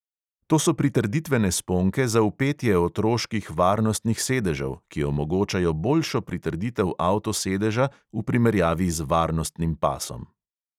To so pritrditvene sponke za vpetje otroških varnostnih sedežev, ki omogočajo boljšo pritrditev avtosedeža v primerjavi z varnostnim pasom.